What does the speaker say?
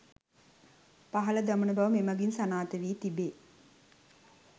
පහළ දමන බව මෙමගින් සනාථ වී තිබේ.